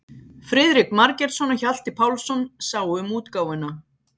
Friðrik Margeirsson og Hjalti Pálsson sáu um útgáfuna.